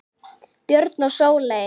Björn og Sóley.